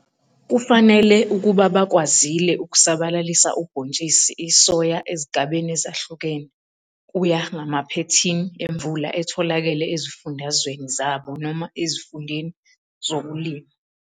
Kufanele ukuba bakwazile ukusabalalisa ubhontshisi isoya ezigabeni ezahlukene ukuya ngamaphethini emvula etholakele ezifundazweni zabo noma ezifundeni zokulima.